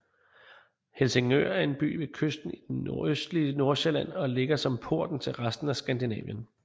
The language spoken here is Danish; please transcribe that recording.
Helsingør er en by ved kysten i det nordøstlige Nordsjælland og ligger som porten til resten af Skandinavien